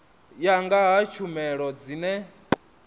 ya nga ha tshumelo dzine